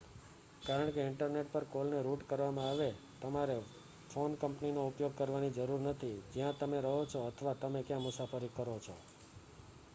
કારણ કે ઇન્ટરનેટ પર કોલ ને રૂટ કરવામાં આવે, તમારે ફોન કંપનીનો ઉપયોગ કરવાની જરૂર નથી જ્યાં તમે રહો છો અથવા તમે ક્યાં મુસાફરી કરો છો